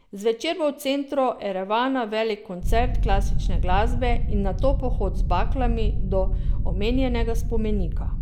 Zvečer bo v centru Erevana velik koncert klasične glasbe in nato pohod z baklami do omenjenega spomenika.